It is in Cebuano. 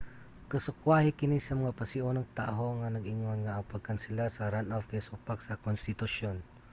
kasukwahi kini sa mga pasiunang taho nga nag-ingon nga ang pagkansela sa runoff kay supak sa konstitusyon